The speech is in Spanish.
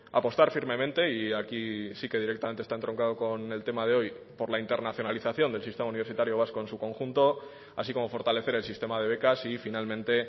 apostar firmemente y aquí sí que directamente está entroncado con el tema de hoy por la internacionalización del sistema universitario vasco en su conjunto así como fortalecer el sistema de becas y finalmente